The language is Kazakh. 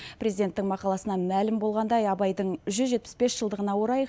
президенттің мақаласынан мәлім болғандай абайдың жүз жетпіс бес жылдығына орай